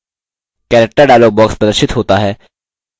character dialog box प्रदर्शित होता है